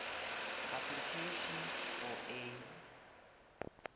application for a